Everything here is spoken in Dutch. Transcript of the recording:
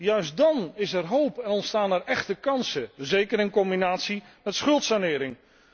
Juist dan is er hoop en ontstaan er echte kansen, zeker in combinatie met schuldsanering.